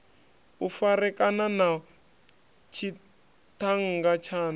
u farekana na tshiṱhannga tshaṋu